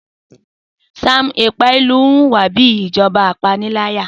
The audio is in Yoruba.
Sam Ekpaìlú ń hùwà bí ìjọba ìpániláyà